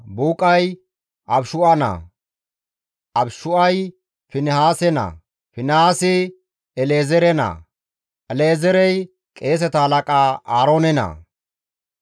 Buuqay Abishu7a naa, Abishu7ay Finihaase naa, Finihaasi El7ezeere naa, El7ezeerey qeeseta halaqa Aaroone naa.